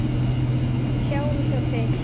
Sjáum svo til.